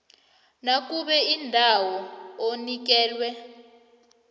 nakube indawo onikelwe